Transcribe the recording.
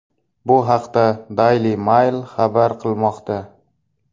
Bu haqda Daily Mail xabar qilmoqda .